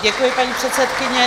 Děkuji, paní předsedkyně.